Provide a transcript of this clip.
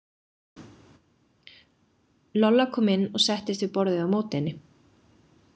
Lolla kom inn og settist við borðið á móti henni.